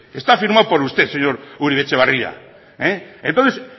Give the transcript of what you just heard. está firmado por usted señor uribe etxebarria entonces